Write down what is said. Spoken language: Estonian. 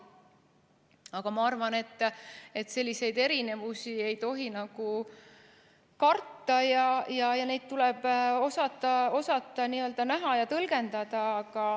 Aga ma arvan, et selliseid erinevusi ei tohi karta ja neid tuleb osata näha ja tõlgendada.